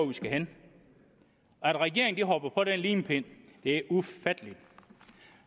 vi skal hen at regeringen hopper på den limpind er ufatteligt